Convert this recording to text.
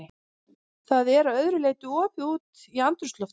Það er að öðru leyti opið út í andrúmsloftið.